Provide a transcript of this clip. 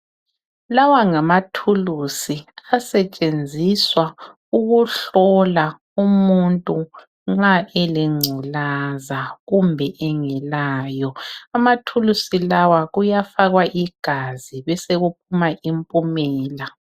Lawangamathulusi asetshenziswa ukuhlola umuntu nxa eleNgculaza kumbe engelayo. Amathulusi lawa kuyafakwa igazi, besekuphuma impumela.